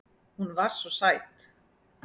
Hún var svo sæt.